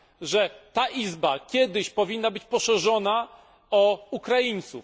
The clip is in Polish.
że ta Izba kiedyś powinna być poszerzona o Ukraińców?